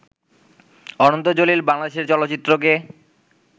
অনন্ত জলিল বাংলাদেশের চলচ্চিত্রকে